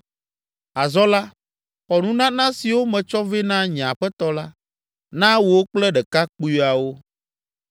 Azɔ la, xɔ nunana siwo metsɔ vɛ na nye aƒetɔ la, na wò kple ɖekakpuiawo.